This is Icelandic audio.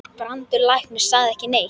Brandur læknir sagði ekki neitt.